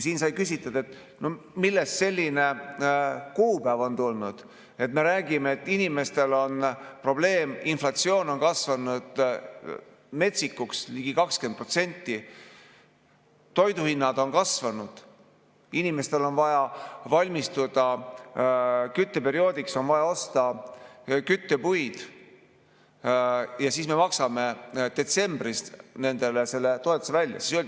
Siin sai küsitud, millest selline kuupäev on tulnud, kui me räägime, et inimestel on probleem, inflatsioon on kasvanud metsikuks, ligi 20%, toiduhinnad on kasvanud, inimestel on vaja valmistuda kütteperioodiks, on vaja osta küttepuid, aga me maksame nendele selle toetuse välja detsembris.